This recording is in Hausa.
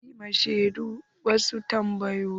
Zan yi ma shedun wasu tambayoyi.